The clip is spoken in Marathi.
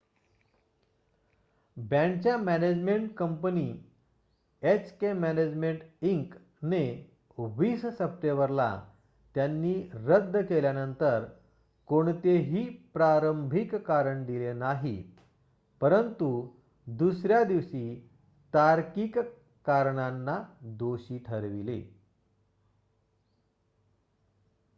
बँडच्या management company HK management Inc ने 20 सप्टेंबरला त्यांनी रद्द केल्यावर कोणतेही प्रारंभिक कारण दिले नाही परंतु दुसर्‍या दिवशी तार्किक कारणांना दोषी ठरविले